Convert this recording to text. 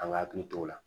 An ka hakili t'o la